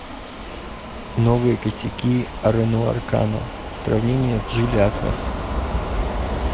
новые косяки рено аркана сравнение с джили атлас